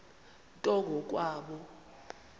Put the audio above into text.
nto ngo kwabo